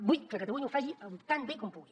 vull que catalunya ho faci tan bé com pugui